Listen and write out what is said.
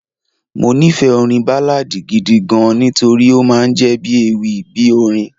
Mo nífẹ̀ẹ́ orin Báláadì gidi gan-an nítorí ó máa ń jọ bí ewì bí orin.